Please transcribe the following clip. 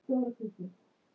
Mæting mín er mjög léleg.